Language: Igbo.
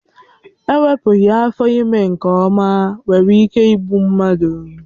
Ewepụghị afọ ime nke ọma nwere ike ịbụ mmadụ.